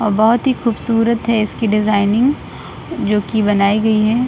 और बहुत ही खूबसूरत है इसकी डिजायनिंग जो की बनाई गई है।